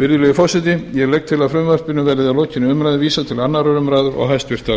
virðulegi forseti ég legg til að frumvarpi verði að lokinni umræðu vísað til annarrar umræðu og háttvirtrar